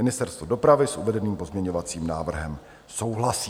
Ministerstvo dopravy s uvedeným pozměňovacím návrhem souhlasí.